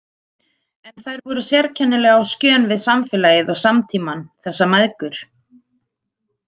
En þær voru sérkennilega á skjön við samfélagið og samtímann, þessar mæðgur.